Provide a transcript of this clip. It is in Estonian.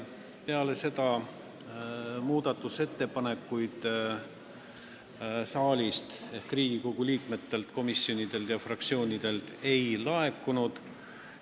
Peale seda muudatusettepanekuid saalist ehk Riigikogu liikmetelt, komisjonidelt ega fraktsioonidelt ei laekunud.